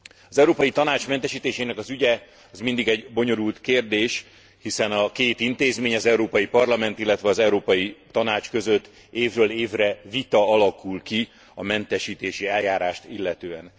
Az Európai Tanács mentesítésének az ügye az mindig egy bonyolult kérdés, hiszen a két intézmény, az Európai Parlament, illetve az Európai Tanács között évről évre vita alakul ki a mentesítési eljárást illetően.